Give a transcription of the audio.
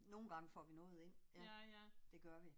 Nogle gange får vi noget ind, ja. Det gør vi